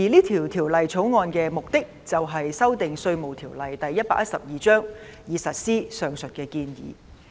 《條例草案》的目的便是修訂《稅務條例》，以實施上述建議。